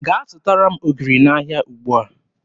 Gaa zụtara m ogiri n'ahịa ugbua!